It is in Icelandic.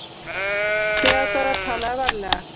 THEODÓRA: Talaðu varlega.